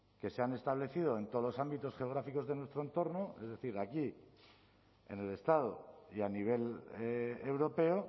que se han establecido en todos los ámbitos geográficos de nuestro entorno es decir aquí en el estado y a nivel europeo